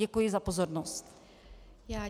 Děkuji za pozornost.